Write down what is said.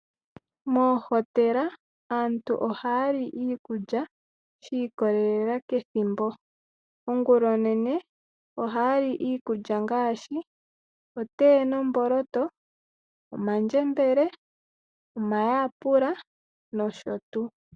Moohotela aantu ohaya li iikulya shi ikwatelela kethimbo. Ongula onene ohaya li iikulya ngaashi otee nomboloto, omandjembele, omayapula nosho tuu.